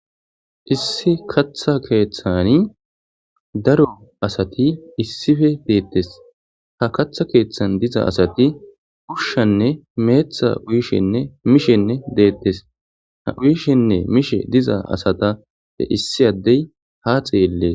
Issi katha kethani darro assati issipe betesi. Ha katha kethani diza assati ushanne methane uyishenne mishe betesi, ha uyishenne mishe diza assata issi addeyi ha xellesi.